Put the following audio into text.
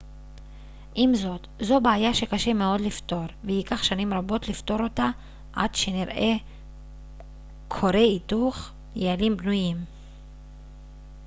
עם זאת זו בעיה שקשה מאוד לפתור וייקח שנים רבות לפתור אותה עד שנראה כורי היתוך יעילים בנויים